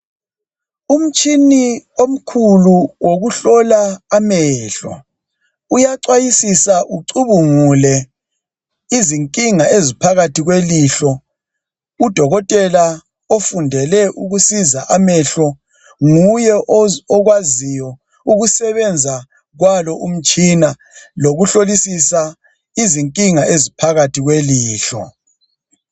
Umtshina omkhulu wokuhlola amehlo uyachwayisisa ucubungule izinkinga eziphakathi kwelihlo. Udokotela ofundele ukusiza amehlo nguye okwaziyo ukusebenza kwalo umtshina lokuhlolisisa izinkinga eziphakathi kwelihlo.